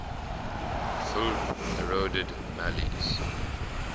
fulbe eroded mali's